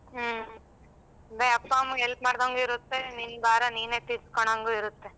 ಹ್ಮ ಅದೇ ಅಪ್ಪ ಅಮ್ಮಂಗೆ help ಮಾಡದಂಗು ಇರುತ್ತೆ ನಿನ್ ಭಾರ ನೀನೆ ತೀರಿಸ್ಕೊಂಡಂಗು ಇರುತ್ತೆ.